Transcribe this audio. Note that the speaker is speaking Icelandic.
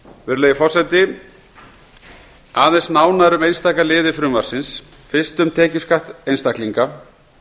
virðulegi forseti aðeins nánar um einstaka liði frumvarpsins fyrst um tekjuskatt einstaklinga